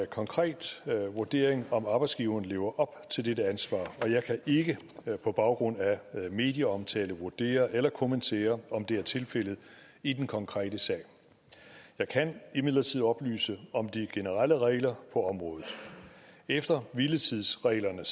konkret vurdering om arbejdsgiveren lever op til dette ansvar og jeg kan ikke på baggrund af medieomtale vurdere eller kommentere om det er tilfældet i den konkrete sag jeg kan imidlertid oplyse om de generelle regler på området efter hviletidsreglerne